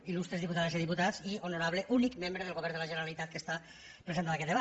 illustres diputades i diputats i honorable únic membre del govern de la generalitat que està present en aquest debat